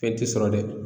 Fɛn ti sɔrɔ dɛ